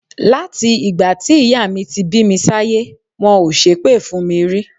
Láti ìgbà tí ìyá mi ti bí mi sáyé, wọn ò ṣépè fún mi rí.